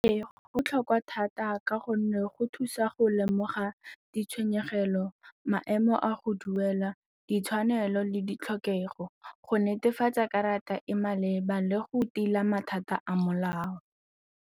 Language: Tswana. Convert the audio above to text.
Ee, go botlhokwa thata ka gonne go thusa go lemoga ditshwenyegelo, maemo a go duela, ditshwanelo le ditlhokego go netefatsa karata e maleba le go tila mathata a molao.